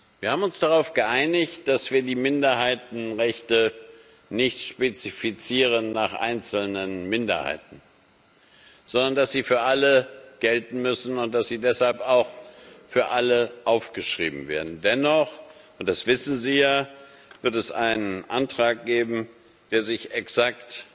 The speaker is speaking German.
Wir haben uns darauf geeinigt, dass wir die Minderheitenrechte nicht nach einzelnen Minderheiten spezifizieren, sondern dass sie für alle gelten müssen und dass sie deshalb auch für alle aufgeschrieben werden. Dennoch und das wissen Sie ja wird es einen Antrag geben, der sich exakt